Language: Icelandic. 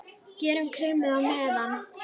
Gerum kremið á meðan!